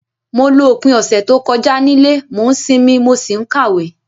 Mo lo opín ọ̀sẹ̀ to kojá nílé, mo n sinmí, mo si n kàwé